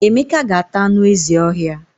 Emeka ga-ata anu ezi ohia.